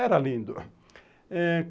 Era lindo.